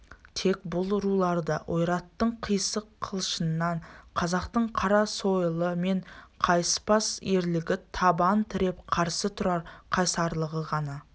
тек бұл руларды ойраттың қисық қылышынан қазақтың қара сойылы мен қайыспас ерлігі табан тіреп қарсы тұрар қайсарлығы ғана